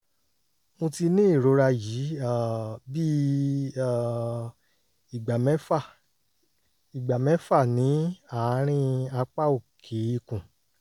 mo ti ní ìrora yìí um bíi um ìgbà mẹ́fà ìgbà mẹ́fà ní àárín apá òkè ikùn